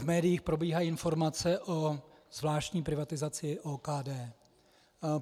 V médiích probíhají informace o zvláštní privatizaci OKD.